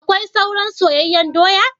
Akwai soran soyanyen doya?